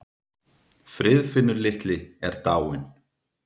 Friðfinnur litli er dáinn.